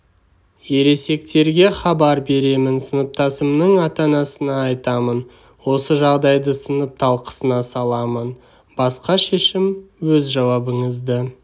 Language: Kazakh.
ересектерге хабар беремін сыныптасымның ата-анасына айтамын осы жағдайды сынып талқысына саламын басқа шешім өз жауабыңызды